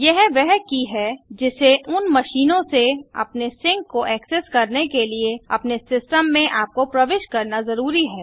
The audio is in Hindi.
यह वह की है जिसे उन मशीनों से अपने सिंक को ऐक्सेस करने के लिए अपने सिस्टम में आपको प्रविष्ट करना जरूरी है